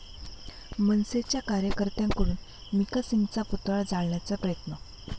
मनसेच्या कार्यकर्त्यांकडून मिका सिंगचा पुतळा जाळण्याचा प्रयत्न